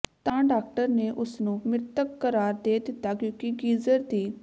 ਤਾ ਡਾਕਟਰ ਨੇ ਉਸਨੂੰ ਮਿ੍ਤਕ ਕਰਾਰ ਦੇ ਦਿੱਤਾ ਕਿਉਂਕਿ ਗੀਜਰ ਦੀ